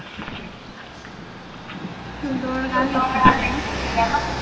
চোদ্দোবার গাল দিচ্ছিস কেন